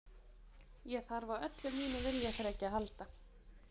Ég þarf á öllu mínu viljaþreki að halda.